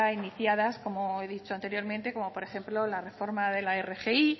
iniciadas como he dicho anteriormente como por ejemplo la reforma de la rgi